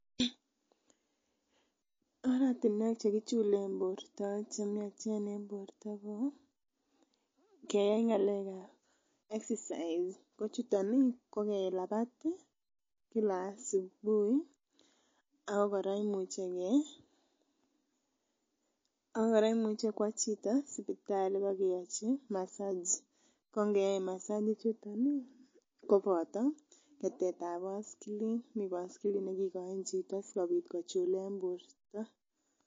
oratuniek chekichulen borto chemiachen en borto ko keyai exercise ko chuton ih ko kelabat ih Kila subui Ako kora imuche keyai kua chito sipitali kibokeachi massage ko ngeyoe massage koboto ketetab baskilit.